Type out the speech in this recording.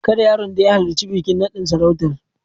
Kada yaron da ya halarci bikin naɗin sarautar.